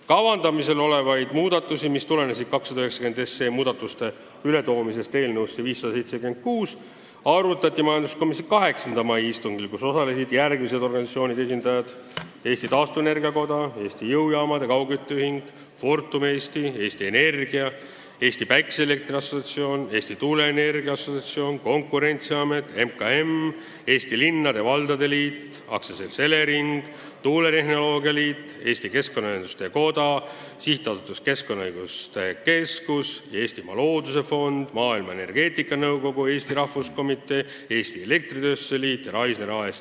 Kavandamisel olevaid muudatusi, mis tulenesid eelnõu 290 muudatuste lisamisest eelnõusse 576, arutati majanduskomisjonis 8. mai istungil, kus osalesid järgmiste organisatsioonide esindajad: Eesti Taastuvenergia Koda, Eesti Jõujaamade ja Kaugkütte Ühing, Fortum Eesti, Eesti Energia, MTÜ Eesti Päikeseelektri Assotsiatsioon, Eesti Tuuleenergia Assotsiatsioon, Konkurentsiamet, MKM, Eesti Linnade ja Valdade Liit, AS Elering, Tuuletehnoloogia Liit, Eesti Keskkonnaühenduste Koda, SA Keskkonnaõiguste Keskus, Eestimaa Looduse Fond, Maailma Energeetikanõukogu Eesti Rahvuskomitee, Eesti Elektritööstuse Liit ja Raisner AS.